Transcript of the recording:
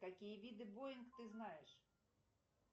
какие виды боинг ты знаешь